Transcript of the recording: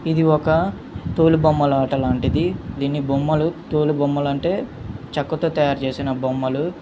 ఇది ఒక తోలు బొమ్మలాట లాంటిది. దీని బొమ్మలు తోలు బొమ్మలు అంటే చెక్కతో తయారు చేసిన బొమ్మలు.